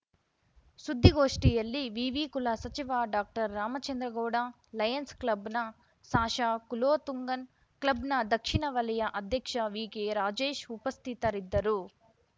ಸುದ್ದಿಗೋಷ್ಠಿಯಲ್ಲಿ ವಿವಿ ಕುಲ ಸಚಿವ ಡಾಕ್ಟರ್ರಾಮಚಂದ್ರಗೌಡ ಲಯನ್ಸ್‌ ಕ್ಲಬ್‌ನ ಸಾಶ ಕುಲೋತುಂಗನ್‌ ಕ್ಲಬ್‌ನ ದಕ್ಷಿಣ ವಲಯ ಅಧ್ಯಕ್ಷ ವಿಕೆರಾಜೇಶ್‌ ಉಪಸ್ಥಿತರಿದ್ದರು